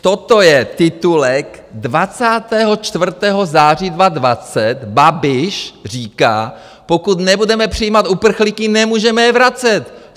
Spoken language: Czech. Toto je titulek 24. září 2020, Babiš říká - pokud nebudeme přijímat uprchlíky, nemůžeme je vracet!